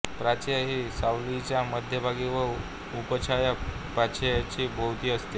प्रछाया ही सावलीच्या मध्यभागी व उपछाया प्रछायेच्या भोवती असते